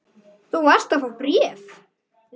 Þú varst að fá bréf.